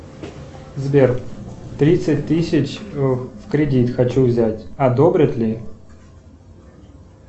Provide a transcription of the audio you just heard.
сбер тридцать тысяч в кредит хочу взять одобрят ли